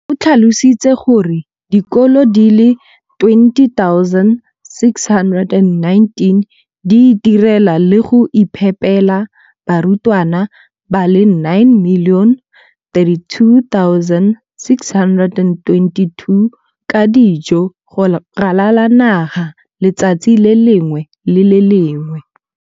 O tlhalositse gore dikolo di le 20 619 di itirela le go iphepela barutwana ba le 9 032 622 ka dijo go ralala naga letsatsi le lengwe le le lengwe.